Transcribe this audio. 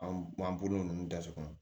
An b'an bolo ninnu datugu